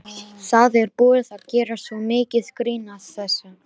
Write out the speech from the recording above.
Það er búið að gera svo mikið grín að þessu.